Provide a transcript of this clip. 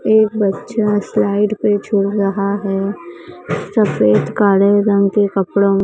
एक बच्चा स्लाइड पे झूल रहा है सफेद काले रंग के कपड़ों--